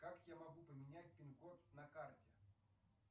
как я могу поменять пин код на карте